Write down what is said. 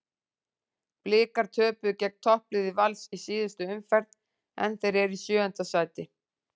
Blikar töpuðu gegn toppliði Vals í síðustu umferð en þeir eru í sjöunda sæti.